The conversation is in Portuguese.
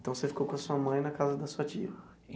Então, você ficou com a sua mãe na casa da sua tia?